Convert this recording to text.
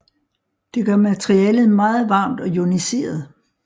Det gør materialet meget varmt og ioniseret